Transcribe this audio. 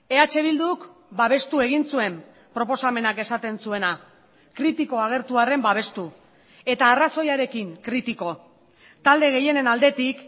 eh bilduk babestu egin zuen proposamenak esaten zuena kritiko agertu arren babestu eta arrazoiarekin kritiko talde gehienen aldetik